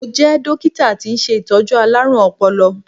Mo jẹ́ dókítà tí ń ṣe Ìtọ́jú alárùn ọpọlọ.